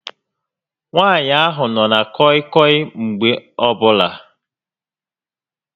Nwaànyị ahụ nọ na kọị kọị Mgbe ọbụla